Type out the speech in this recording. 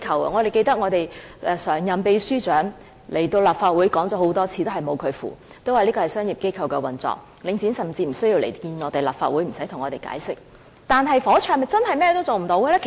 我記得我們的常任秘書長來立法會討論過很多次，但仍是一籌莫展，說這是商業機構的運作，領展甚至無須到立法會來見我們和向我們解釋。